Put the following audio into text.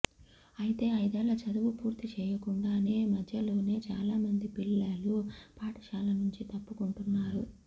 అయితే ఐదేళ్ల చదువు పూర్తి చేయకుండానే మధ్యలోనే చాలామంది పిల్లలు పాఠశాలనుంచి తప్పుకుంటున్నారు